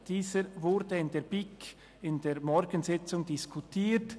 Dieser wurde in der BiK in der Morgensitzung diskutiert.